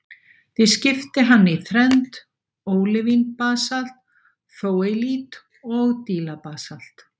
Því skipti hann í þrennt, ólivín-basalt, þóleiít og dílabasalt.